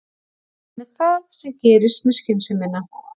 Það er einmitt það, sem gerist með skynsemina.